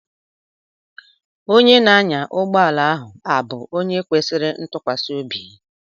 Onye na-anya ụgbọala ahụ abụ onye kwesịrị ịtụkwasị obi?